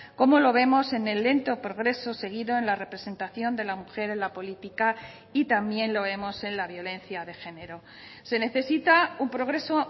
como lo vemos en el lento progreso seguido en la representación de la mujer en la política y también lo vemos en la violencia de género se necesita un progreso